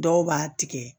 Dɔw b'a tigɛ